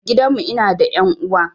A gidan mu ina da ƴan uwa